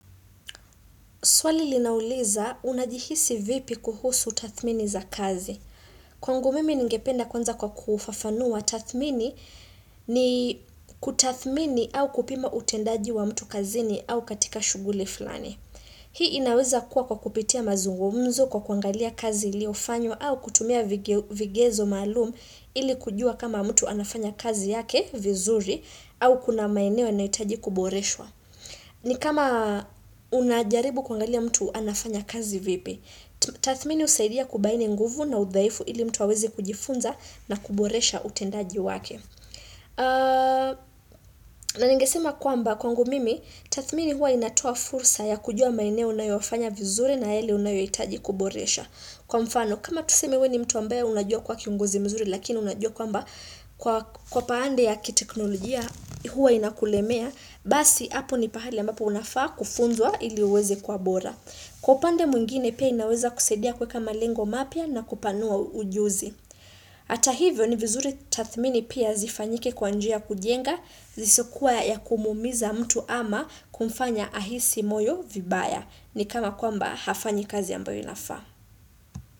Swali linauliza unajihisi vipi kuhusu tathmini za kazi. Kwangu mimi ningependa kuanza kwa kufafanua tathmini ni kutathmini au kupima utendaji wa mtu kazini au katika shughuli fulani. Hii inaweza kuwa kwa kupitia mazungumzo kwa kuangalia kazi iliofanywa au kutumia vigezo maalum ili kujua kama mtu anafanya kazi yake vizuri au kuna maeneo yanahitaji kuboreshwa. Ni kama unajaribu kuangalia mtu anafanya kazi vipi Tathmini husaidia kubaini nguvu na udhaifu ili mtu aweze kujifunza na kuboresha utendaji wake na ningesema kwamba kwangu mimi Tathmini huwa inatoa fursa ya kujua maeneo unayofanya vizuri na yale unayohitaji kuboresha Kwa mfano kama tuseme wewe ni mtu ambaye unajua kuwa kionguzi mzuri Lakini unajua kwamba kwa pande ya kiteknolojia huwa inakulemea basi hapo ni pahali ya ambapo unafaa kufunzwa ili uweze kuwa bora. Kwa upande mwingine pia inaweza kusaidia kuweka malengo mapya na kupanua ujuzi. Hata hivyo ni vizuri tathmini pia zifanyike kwa njia ya kujenga, zisizokuwa ya kumuumiza mtu ama kumfanya ahisi moyo vibaya. Ni kama kwamba hafanyi kazi ambayo inafaa.